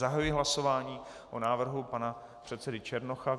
Zahajuji hlasování o návrhu pana předsedy Černocha.